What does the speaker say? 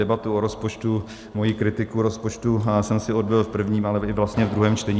Debatu o rozpočtu, svoji kritiku rozpočtu jsem si odbyl v prvním, ale i vlastně v druhém čtení.